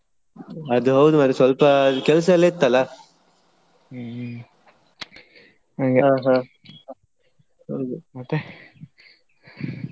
ಅದೌದು ಮಾರ್ರೆ ಸ್ವಲ್ಪ ಕೆಲ್ಸೇಲ್ಲಾ ಇತ್ತಲ್ಲಾ.